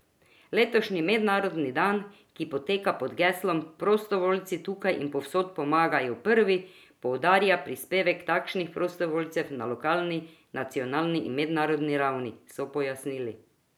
Letošnji mednarodni dan, ki poteka pod geslom Prostovoljci tukaj in povsod pomagajo prvi, poudarja prispevek takšnih prostovoljcev na lokalni, nacionalni in mednarodni ravni, so pojasnili.